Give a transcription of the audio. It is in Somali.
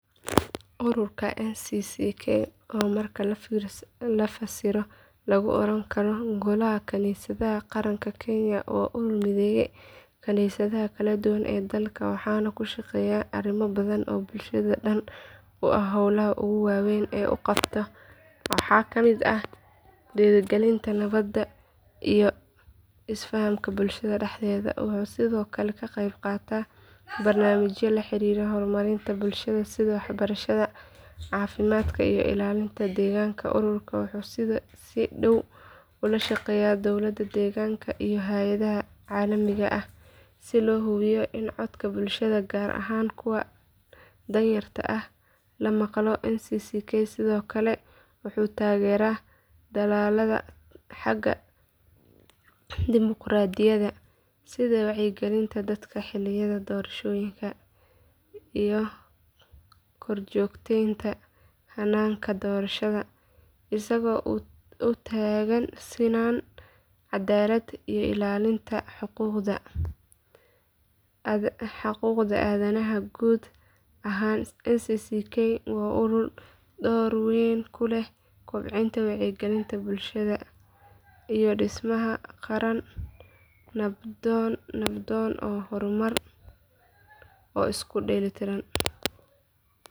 ururka ncck oo marka la fasiro lagu oran karo golaha kaniisadaha qaranka kenya waa urur mideeya kaniisadaha kala duwan ee dalka waxaana uu ka shaqeeyaa arrimo badan oo bulshada dan u ah howlaha ugu waaweyn ee uu qabto waxaa ka mid ah dhiirigelinta nabadda iyo isfahamka bulshada dhexdeeda wuxuu sidoo kale ka qeyb qaataa barnaamijyo la xiriira horumarinta bulshada sida waxbarashada caafimaadka iyo ilaalinta deegaanka ururkan wuxuu si dhow ula shaqeeyaa dowlad deegaanka iyo hay’adaha caalamiga ah si loo hubiyo in codka bulshada gaar ahaan kuwa danyarta ah la maqlo ncck sidoo kale wuxuu taageeraa dadaallada xagga dimuqraadiyadda sida wacyigelinta dadka xilliyada doorashooyinka iyo korjoogteynta hannaanka doorashada isagoo u taagan sinaan cadaalad iyo ilaalinta xuquuqda aadanaha guud ahaan ncck waa urur door weyn ku leh kobcinta wacyiga bulshada iyo dhismaha qaran nabdoon oo horumarsan oo isu dheellitiran.